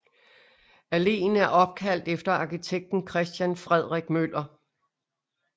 Alléen er opkaldt efter arkitekten Christian Frederik Møller